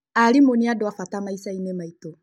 Arimũ nĩ andũ abata maisainĩ maitũ